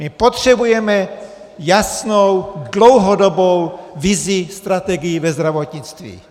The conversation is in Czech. My potřebujeme jasnou dlouhodobou vizi, strategii ve zdravotnictví.